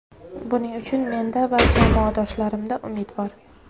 Buning uchun menda va jamoadoshlarimda umid bor.